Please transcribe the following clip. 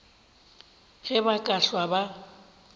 ge ba ka hlwa ba